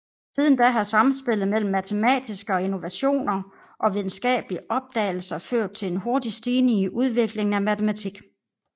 Siden da har samspillet mellem matematiske innovationer og videnskabelige opdagelser ført til en hurtig stigning i udviklingen af matematik